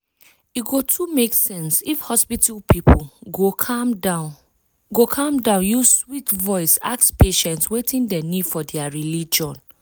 e go too make sense if hospital people go calm go calm down use sweet voice ask patients wetin dem need for dia religion.